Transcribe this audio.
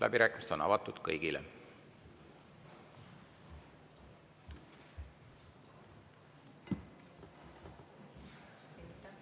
Läbirääkimised on avatud kõigile.